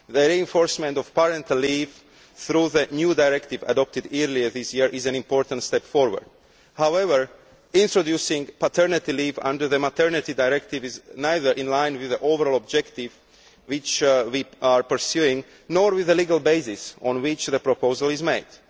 The reinforcement of parental leave through the new directive adopted earlier this year is an important step forward. However, introducing paternity leave under the maternity directive is neither in line with the overall objective we are pursuing, nor with the legal basis on which the proposal is made.